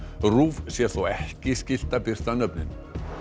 RÚV sé þó ekki skylt að birta nöfnin